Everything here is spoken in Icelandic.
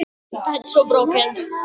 Þau sóttu í hann.